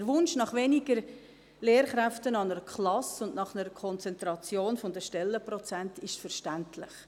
Der Wunsch nach weniger Lehrkräften an einer Klasse und nach einer Konzentration der Stellenprozente ist verständlich.